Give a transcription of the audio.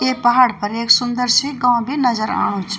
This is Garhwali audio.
इ पहाड पर ऐक सुंदर सी गांव बि नजर आणु च।